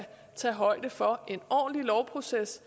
tage højde for en ordentlig lovproces